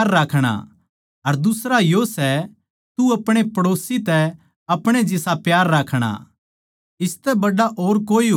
अर दुसरा यो सै तू आपणे पड़ोसी तै आपणे जिसा प्यार राखणा इसतै बड्ड़ा और कोए हुकम कोनी